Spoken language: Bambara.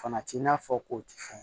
Fana t'i n'a fɔ k'o ti fɛn